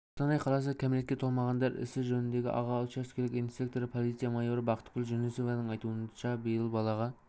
қостанай қаласы кәмелетке толмағандар ісі жөніндегі аға учаскелік инспекторы полиция майоры бақытгүл жүнісованың айтуынша биыл балаға